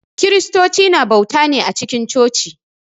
Kiristocu na bauta ne a cikin coci.